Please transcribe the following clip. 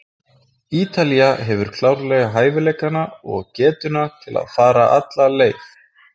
Ítalía hefur klárlega hæfileikana og getuna til að fara alla leið.